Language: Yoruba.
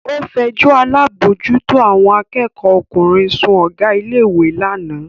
Ó fẹjọ́ alábòójútó àwọn akẹ́kọ̀ọ́ ọkùnrin sun Ọ̀gá ilé ìwé lánàá